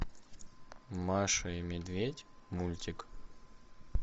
маша и медведь мультик